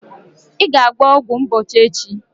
Ị ga-agba ọgwụ mgbochi echi!